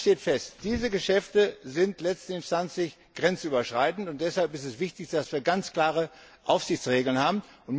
Eines steht fest Diese Geschäfte sind letztinstanzlich grenzüberschreitend, und deshalb ist es wichtig, dass wir ganz klare Aufsichtsregeln haben.